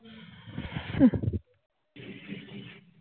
হম